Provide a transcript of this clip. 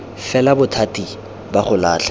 fela bothati ba go latlha